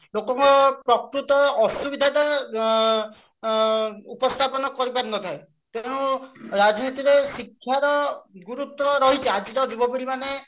ଲୋକଙ୍କ ପ୍ରକୃତ ଅସୁବିଧା ଟା ଆଁ ଉପସ୍ଥାପନ କରି ପାରିନଥାଏ ତେଣୁ ରାଜନୈତିକ ଶିକ୍ଷାର ଗୁରୁତ୍ୟ ରହିଛି ଆଜିର ଯୁବପିଢି ମାନେ